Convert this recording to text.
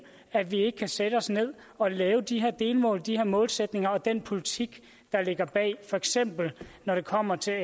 at vi ikke kan sætte os ned og lave de her delmål de her målsætninger og den politik der ligger bag for eksempel når det kommer til